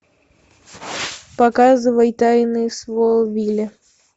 показывай тайны смолвиля